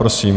Prosím.